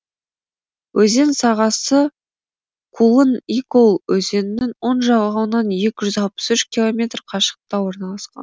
өзен сағасы кулын игол өзенінің оң жағалауынан екі жүз алпыс үш километр қашықтықта орналасқан